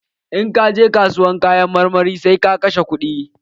In ka je kasuwar Kayan marmari, sai ka kashe kuɗi.